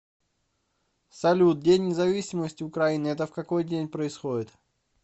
салют день независимости украины это в какой день происходит